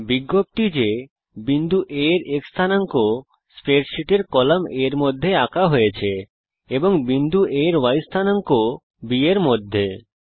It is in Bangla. বিজ্ঞপ্তি যে বিন্দু A এর X স্থানাঙ্ক স্প্রেডশীটের কলাম A এর মধ্যে আঁকা হয়েছে এবং বিন্দু A এর Y স্থানাঙ্ককে কলাম B এর মধ্যে আঁকা হয়েছে